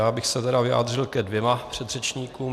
Já bych se tedy vyjádřil ke dvěma předřečníkům.